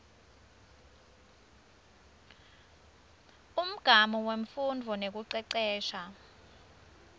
umgamu wemfundvo nekucecesha